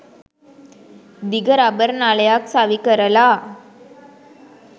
දිග රබර් නලයක් සවි කරලා